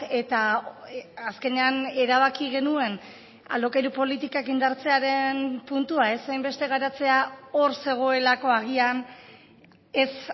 eta azkenean erabaki genuen alokairu politikak indartzearen puntua ez hainbeste garatzea hor zegoelako agian ez